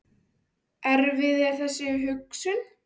Erfið er þessi hugsun.